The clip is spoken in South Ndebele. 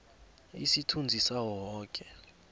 isithunzi sawo woke